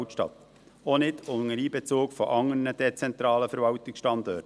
auch nicht unter Einbezug anderer dezentraler Verwaltungsstandorte.